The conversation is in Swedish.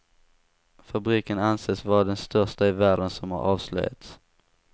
Fabriken anses vara den största i världen som har avslöjats.